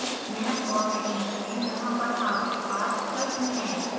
minute और second चुनें जहाँ पर आपके पास प्रश्न है